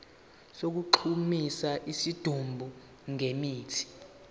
sokugqumisa isidumbu ngemithi